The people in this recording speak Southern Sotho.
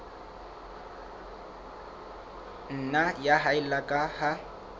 nna ya haella ka ha